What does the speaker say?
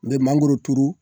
N be mangoro turu